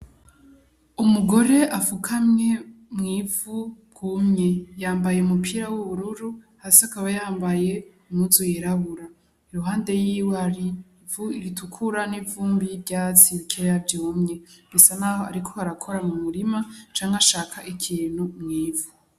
Umugore afukamye mw'ivu ryumye ,yambaye umupira w' ubururu hasi akaba yambaye impuzu yirabura iruhande yiwe hari ivu ritukura n' ivumbi n' ivyatsi bikeya vyumye, bisa naho ariko arakora mu murima canke ashaka ikintu mw'ivu.